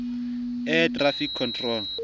air traffic control